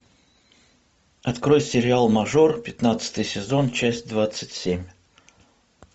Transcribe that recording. открой сериал мажор пятнадцатый сезон часть двадцать семь